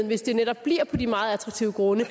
hvis det netop bliver på de meget attraktive grunde